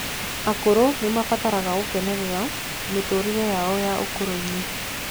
Akũrũ nimarabatara gukenerera mitũririe yao ya ũkũrũ-ini